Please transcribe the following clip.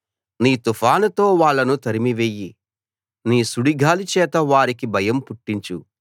నీ తుఫానుతో వాళ్ళను తరిమి వెయ్యి నీ సుడిగాలిచేత వారికి భయం పుట్టించు